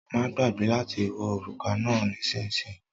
Má gbàgbé láti wọ òrùka náà nísìsiyìí